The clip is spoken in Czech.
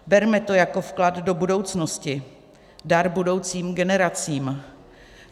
Berme to jako vklad do budoucnosti, dar budoucím generacím.